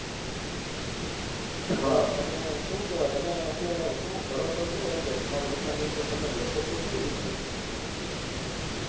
હા તો શું કેવાય તમે અત્તયારે તમે કરો છો શું તમારી દુકાન ની અંદર તમે બેસો છો કઈ જગ્યા